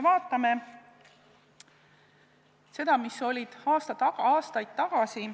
Vaatame seda, mis oli aastaid tagasi.